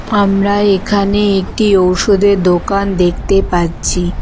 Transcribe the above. আমরা এখানে একটি ঔষধের দোকান দেখতে পাচ্ছি।